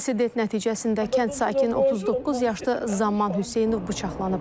İnsident nəticəsində kənd sakini 39 yaşlı Zaman Hüseynov bıçaqlanıb.